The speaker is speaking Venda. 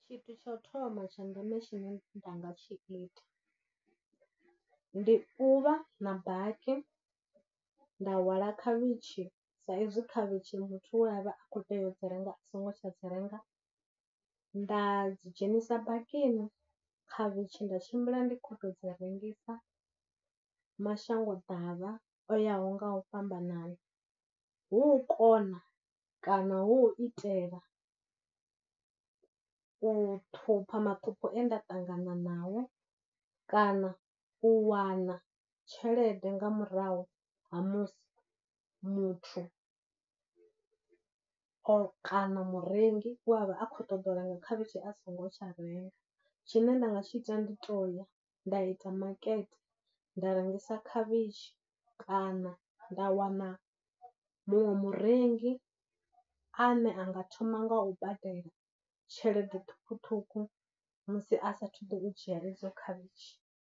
Tshithu tsha u thoma tsha ndeme tshine nda nga tshi ita, ndi u vha na baki, nda hwala khavhitshi sa ezwi khavhitshi muthu we a vha a khou teya u dzi renga a songo tsha dzi renga, nda dzi dzhenisa bakini khavhitshi nda tshimbila ndi khou tou dzi rengisa mashango ḓavha o yaho nga u fhambanana, hu u kona kana hu u itela u ṱhupha maṱhupho e nda ṱangana nao, kana u wana tshelede nga murahu ha musi muthu o kana murengi we a vha a khou ṱoḓa u renga khavhishi a songo tsha renga. Tshine nda nga tshi ita ndi u toya nda ita market nda rengisa khavhitshi kana nda wana muṅwe murengi a ne a nga thoma nga u badela tshelede ṱhukhuṱhukhu musi a sathu ḓo dzhia edzo khavhitshi.